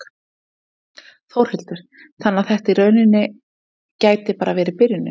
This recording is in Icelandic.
Þórhildur: Þannig að þetta í rauninni gæti bara verið byrjunin?